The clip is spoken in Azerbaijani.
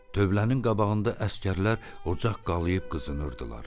Dövlənin qabağında əsgərlər ocaq qalıb qızınırdılar.